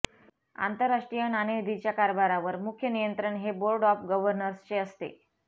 आंतरराष्ट्रीय नाणेनिधीच्या कारभारावर मुख्य नियंत्रण हे बोर्ड ऑफ गव्हर्नर्स चे असते